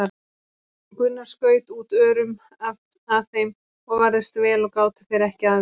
Gunnar skaut út örum að þeim og varðist vel og gátu þeir ekki að gert.